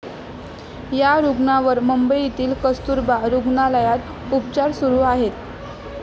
या रुग्णांवर मुंबईतील कस्तुरबा रुग्णालयात उपचार सुरु आहेत.